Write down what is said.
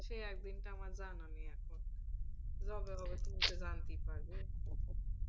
সেই একদিনটা আমার জানা নেই এখন যবে হবে তুমি তো জানতেই পারবে।